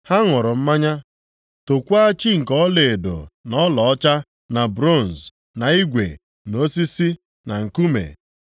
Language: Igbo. Ha ṅụrụ mmanya tookwa chi nke ọlaedo na ọlaọcha na bronz, na igwe na osisi na nkume.